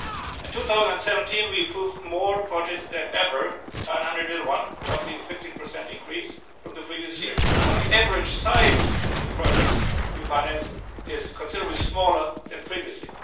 In 2017 we approved more projects than ever 901, roughly a 15 increase from the previous year but the average size of the projects we financed is considerable smaller than previously.